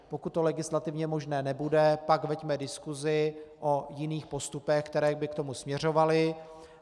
Pokud to legislativně možné nebude, tak veďme diskusi o jiných postupech, které by k tomu směřovaly.